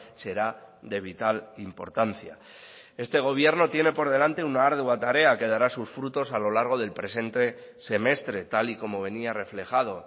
será de vital importancia este gobierno tiene por delante una ardua tarea que dará sus frutos a lo largo del presente semestre tal y como venía reflejado